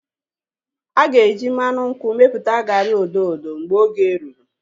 Aga eji mmanụ nkwụ mepụta garị odo odo mgbe oge rụrụ